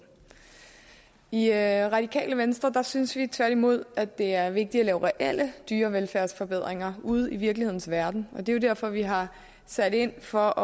i radikale venstre synes vi tværtimod at det er vigtigt at lave reelle dyrevelfærdsforbedringer ude i virkelighedens verden og det er jo derfor vi har sat ind for